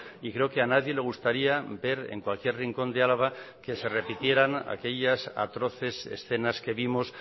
y creo que a nadie le gustaría ver en cualquier rincón de álava que se repitieran aquellas atroces escenas que vimos